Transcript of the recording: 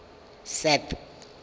seth